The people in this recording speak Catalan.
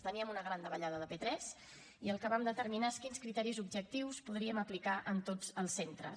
teníem una gran davallada de p3 i el que vam determinar és quins criteris objectius podríem aplicar en tots els centres